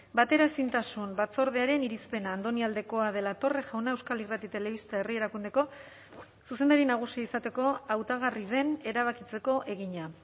bateraezintasun batzordearen irizpena andoni aldekoa de la torre jauna euskal irrati telebista herri erakundeko zuzendari nagusia izateko hautagarri den erabakitzeko egina